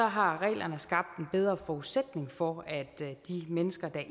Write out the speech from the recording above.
har reglerne skabt en bedre forudsætning for at de mennesker der